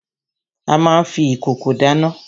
A má n fi ìkòkò dáná.